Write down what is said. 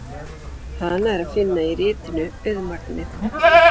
Hana er að finna í ritinu Auðmagnið.